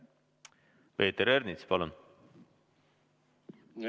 Peeter Ernits, palun!